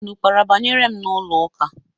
Unu kpara banyere m n'ụlọ ụka?